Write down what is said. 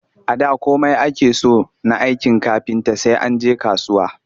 A da komai ake so na aikin kafinta sai an je kasuwa